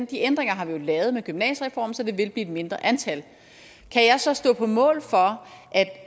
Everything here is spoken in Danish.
de ændringer har vi jo lavet med gymnasiereformen så det vil blive et mindre antal kan jeg så stå på mål for at